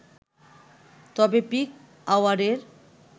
তবে পিক আওয়ারের